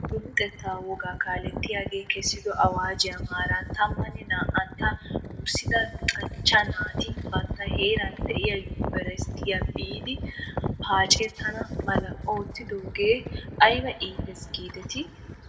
Nu luxettaa wogaa kaalettiyaagee kessido awaajjuwaa maaran tammanne naa'antta wurssida luxanchcha naati bantta heeran de'iyaa yumbburshshiyaa biidi paacettana mala oottidoogee ayba iitees giidetii?